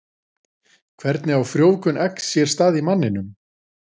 Hvernig á frjóvgun eggs sér stað í manninum?